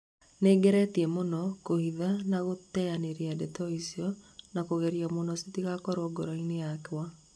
Nĩngeretie mũno kũhitha na gũteyanĩria ndeto icio na kũgeria mũno citigakorwo ngoro-inĩ yakwa